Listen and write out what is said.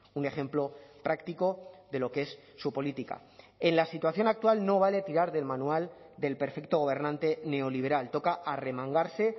un ejemplo práctico de lo que es su política en la situación actual no vale tirar del manual del perfecto gobernante neoliberal toca a arremangarse